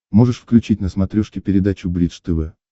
можешь включить на смотрешке передачу бридж тв